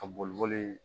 Ka boli boli